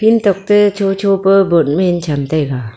field tokte shosho pa bot meen cham taiga.